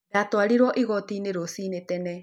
Ndaatwarirũo igooti-inĩ rũcinĩ tene.